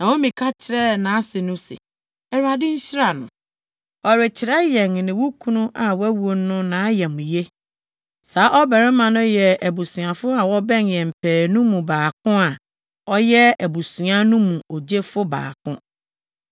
Naomi ka kyerɛɛ nʼase no se, “ Awurade nhyira no. Ɔrekyerɛ yɛn ne wo kunu a wawu no nʼayamye. Saa ɔbarima no yɛ abusuafo a wɔbɛn yɛn pɛɛ no mu baako a ɔyɛ abusua no mu ogyefo baako.”